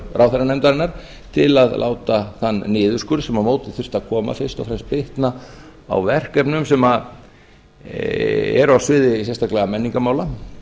ráðherranefndarinnar til að láta þann niðurskurð sem á móti þyrfti að koma fyrst og fremst bitna á verkefnum sem eru á sviði sérstaklega menningarmála